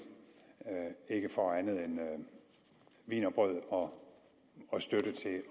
ikke får andet end wienerbrød og støtte til